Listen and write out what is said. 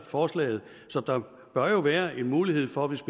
forslaget så der bør jo være en mulighed for hvis